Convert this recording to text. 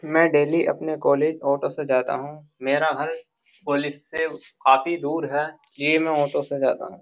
मैं डेली अपने college auto से जाता हूं मेरा घर कॉलेज से काफी दूर है ये मैं ऑटो से जाता हूं।